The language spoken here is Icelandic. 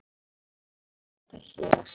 því viljum við minna sérstaklega á þetta hér